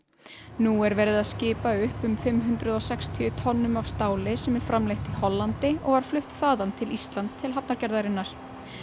nú er verið að skipa upp um fimm hundruð og sextíu tonnum af stáli sem er framleitt í Hollandi og var flutt þaðan til Íslands til hafnargerðarinnar